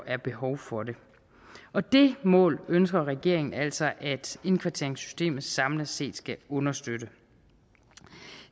er behov for det og det mål ønsker regeringen altså at indkvarteringssystemet samlet set skal understøtte